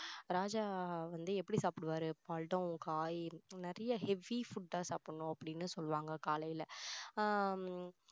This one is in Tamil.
ராஜா வந்து எப்படி சாப்பிடுவாரு பழம், காய் நிறைய heavy food அ அப்படின்னு சொல்லுவாங்க காலையில ஆஹ்